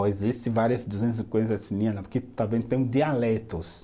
existe várias duzentos e cinquenta etnias lá, porque também tem o dialetos.